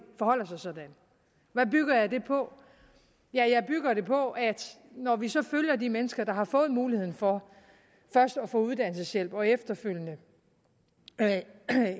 forholder sig sådan hvad bygger jeg det på ja jeg bygger det på at når vi så følger de mennesker der har fået muligheden for først at få uddannelseshjælp og efterfølgende